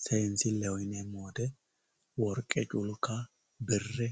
Seensileho yineemmo woyte worqe culka bire